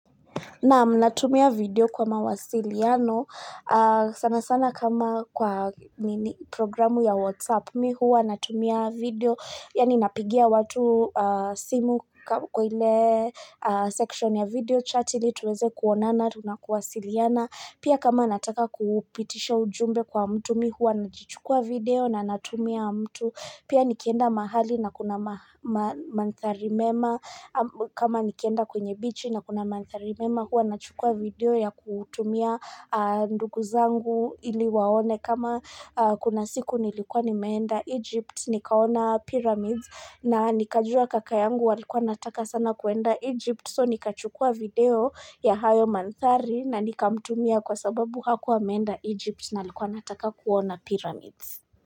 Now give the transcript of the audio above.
Nam natumia video kwa mawasiliano, sana sana kama kwa programu ya WhatsApp. Mi huwa, natumia video, yaani napigia watu simu kwa ile section ya video chat ili tuweze kuonana, tunakuwasiliana, pia kama nataka kupitisha ujumbe kwa mtu mi huwa, nakichukua video na natumia mtu. Pia nikienda mahali na kuna manthari mema kama nikienda kwenye bichi na kuna manthari mema huwa nachukua video ya kutumia ndugu zangu ili waone kama kuna siku nilikuwa nimeenda Egypt nikaona pyramids na nikajua kaka yangu walikuwa nataka sana kuenda Egypt so nikachukua video ya hayo manthari na nikamtumia kwa sababu hakuwa ameenda Egypt na alikuwa anataka kuona pyramids.